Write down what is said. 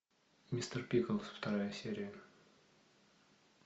мистер пиклз вторая серия